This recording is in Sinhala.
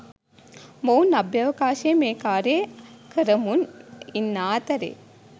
මොවුන් අභ්‍යවකාශයේ මේ කාර්යය කරමුන් ඉන්නා අතරේ